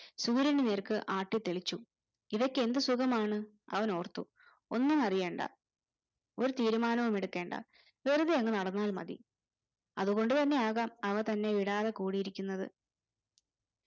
സൂര്യനു നേർക്ക് ആട്ടിത്തെളിച്ചു ഇവയ്ക്ക് എന്തു സുഗമാണ് അവനോർത്തു ഒന്നും അറിയണ്ട ഒരു തീരുമാനവും എടുക്കണ്ട വെറുതെ അങ്ങ് നടന്നാൽ മതി അതുകൊണ്ട് തന്നെ ആകാം അവ തന്നെ വിടാതെ കൂടിയിരിക്കുന്നത്